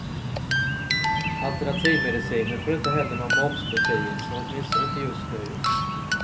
Alternativmedicinen får inte heller någon momsbefrielse, åtminstone inte just nu.